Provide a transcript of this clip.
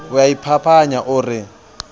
o a iphapanya o re